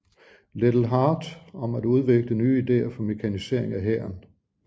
Liddell Hart om at udvikle nye ideer for mekanisering af hæren